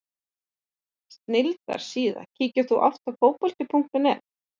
Snilldar síða Kíkir þú oft á Fótbolti.net?